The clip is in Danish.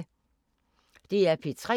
DR P3